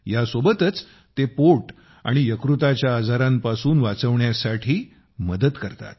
यासोबतच ते पोट आणि यकृताच्या आजारांपासून वाचवण्यासाठी मदत करतात